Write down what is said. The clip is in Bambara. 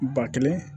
Ba kelen